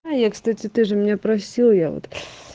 кстати ты же меня просил я вот